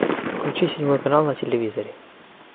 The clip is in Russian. включи седьмой канал на телевизоре